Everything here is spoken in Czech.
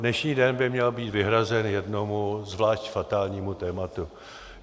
Dnešní den by měl být vyhrazen jednomu zvlášť fatálnímu tématu.